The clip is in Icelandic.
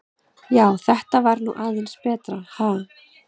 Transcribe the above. Já, þetta var nú aðeins betra, ha!